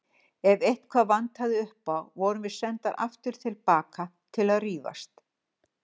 Ef eitthvað vantaði upp á vorum við sendar aftur til baka til að rífast.